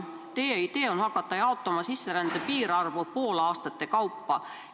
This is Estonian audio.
Teie idee on hakata sisserände piirarvu poolaastate kaupa jaotama.